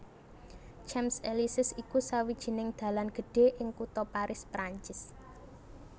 Champs Élysées iku sawijining dalan gedhé ing kutha Paris Prancis